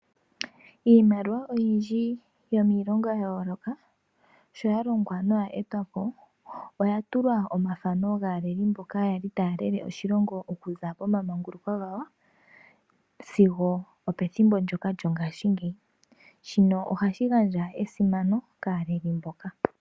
Iimaliwa oyindji yomiilongo yayooloka sho yalongwa noya etwapo , oya tulwa omafano gaaleli mboka taya lele oshilongo okuza pomamanguluko gawo sigo opethimbo ndyoka lyongaashingeyi . Shino ohashi gandja esimano kaaleli mboka.